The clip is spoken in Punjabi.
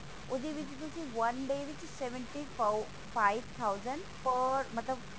ਉਹਦੇ ਵਿੱਚ ਤੁਸੀਂ one day ਵਿੱਚ seventy five thousand ਮਤਲਬ